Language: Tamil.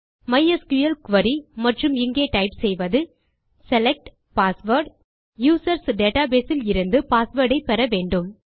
மைஸ்கிள் குரி மற்றும் இங்கே டைப் செய்வது செலக்ட் பாஸ்வேர்ட் - யூசர்ஸ் டேட்டாபேஸ் இலிருந்து பாஸ்வேர்ட் ஐ பெற வேண்டும்